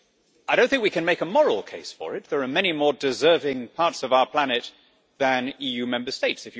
I do not think we can make a moral case for it there are many more deserving parts of our planet than EU Member States.